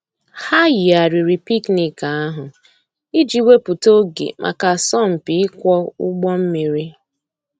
Hà yìghàrìrì picnic àhụ̀ íjì wépụ̀tà ògè mǎká àsọ̀mpị íkwọ̀ ǔgbọ̀ mmìrì.